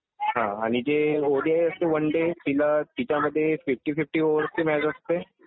हा. आणि जी ओडीआय असते वन डे तिला तिच्या मधे फिफ्टी फिफ्टी ओवरची मॅच असते.